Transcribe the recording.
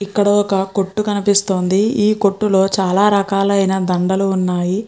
ఇక్కడ ఒక కొట్టు కనిపిస్తుంది ఈ కొట్టు లో చాలా రకాలైన దండలు ఉన్నాయి.